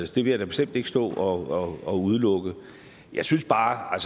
det vil jeg da bestemt ikke stå og og udelukke jeg synes bare